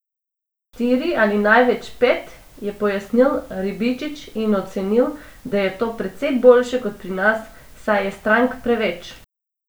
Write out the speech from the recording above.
Štiri ali največ pet, je pojasnil Ribičič in ocenil, da je to precej boljše kot pri nas, saj je strank preveč.